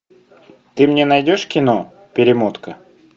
ты мне найдешь кино перемотка